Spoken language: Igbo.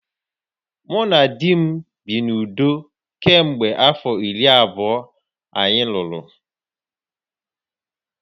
Mụ na di m bi n’udo kemgbe afọ iri abụọ anyị lụrụ